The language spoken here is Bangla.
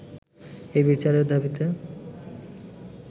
এই বিচারের দাবীতে